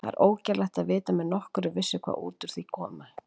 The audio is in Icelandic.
Það er ógerlegt að vita með nokkurri vissu hvað út úr því muni koma.